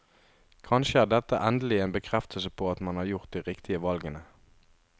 Kanskje er dette endelig en bekreftelse på at man har gjort de riktige valgene.